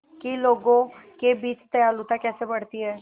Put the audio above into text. कि लोगों के बीच दयालुता कैसे बढ़ती है